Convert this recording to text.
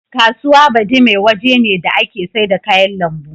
Kasuwa Badime waje ne da ake saida kayan lambu.